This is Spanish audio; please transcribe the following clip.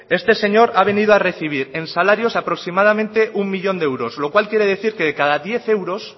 este señor ha venido a recibir en salarios aproximadamente un millón de euros lo cual quiere decir que de cada diez euros